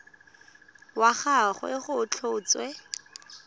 wa ga gagwe go tlhotswe